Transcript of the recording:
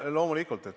Jah, loomulikult.